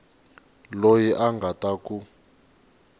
loyi a nga ta ku